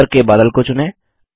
ऊपर के बादल को चुनें